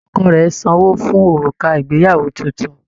Ọkọ rẹ sanwó fún òrùka ìgbéyàwó títún.